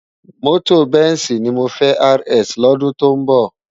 Mòtó bensi ni mó fè rs lòdún tó nbò